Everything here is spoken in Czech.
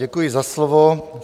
Děkuji za slovo.